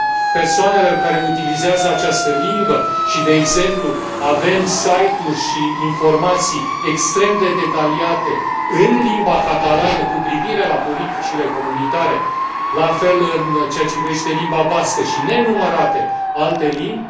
persoanelor care utilizează această limbă și, de exemplu, avem site uri și informații extrem de detaliate în limba catalană cu privire la politicile comunitare, la fel în ceea ce privește limba bască și nenumărate alte limbi.